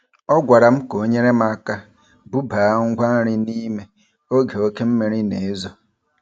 Ọ gwara m ka o nyere m aka bubaa ngwa nri n'ime oge oke mmiri na-ezo.